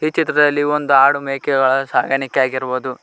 ಚಿತ್ರದಲ್ಲಿ ಒಂದು ಹಾಡು ಮೇಕೆಗಳ ಸಾಗಾಣಿಕೆ ಆಗಿರುಬೋದು.